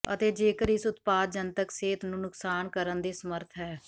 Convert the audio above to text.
ਅਤੇ ਜੇਕਰ ਇਸ ਉਤਪਾਦ ਜਨਤਕ ਸਿਹਤ ਨੂੰ ਨੁਕਸਾਨ ਕਰਨ ਦੇ ਸਮਰੱਥ ਹੈ